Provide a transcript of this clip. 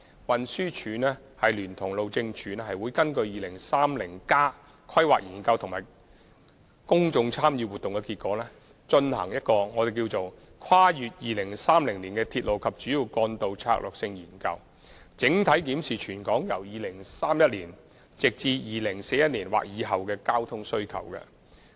運輸署聯同路政署會根據《香港 2030+》及其公眾參與活動的結果，進行一項題為《跨越2030年的鐵路及主要幹道策略性研究》，整體檢視全港由2031年至2041年的交通需求。